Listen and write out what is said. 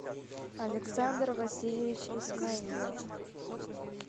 александр васильевич исмаилов